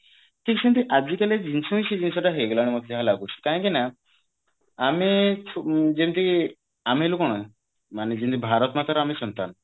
ଠିକ ସେମତି ଆଜିକାଲି ଜିନିଷ ହିଁ ସେଇ ଜିନିଷ ଟା ହେଇଗଲାଣି ମତେ ଯାହା ଲାଗୁଛି କାହିଁକି ନା ଆମେ ଯେମତି ଆମେ ହେଲୁ କଣ ମାନେ ଯେମତି ଭାରତ ମାତା ର ଆମେ ସନ୍ତାନ